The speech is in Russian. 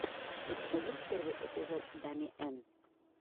у тебя есть первый эпизод дами эн